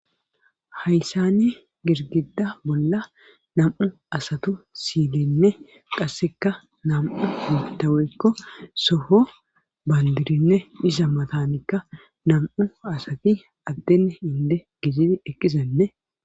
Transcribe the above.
Hayssani girgida bolla nam7u asatu silenne qasseka nam7u mutaweykko soho bandirinne dhisa matanikka nam7u asati addene hinde gejit ekisenne.